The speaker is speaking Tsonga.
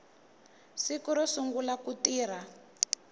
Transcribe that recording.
siku ro sungula ku tirha